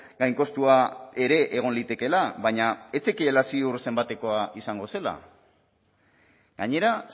gainkostua ere egon litekeela baina ez zekiela ziur zenbatekoa izango zela gainera